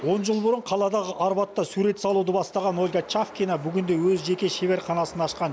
он жыл бұрын қаладағы арбатта сурет салуды бастаған ольга чавкина бүгінде өз жеке шеберханасын ашқан